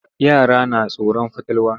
Yara na tsoron fatalwa.